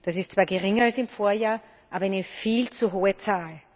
Das ist zwar geringer als im Vorjahr, aber eine viel zu hohe Zahl.